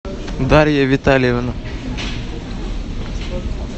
дарья витальевна